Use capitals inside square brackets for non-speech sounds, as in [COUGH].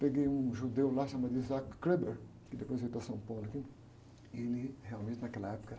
Peguei um judeu lá chamado, [UNINTELLIGIBLE] que depois veio da São Paulo aqui, e ele realmente naquela época era...